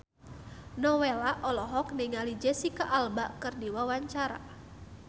Nowela olohok ningali Jesicca Alba keur diwawancara